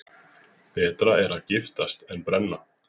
Betra er að giftast en brenna.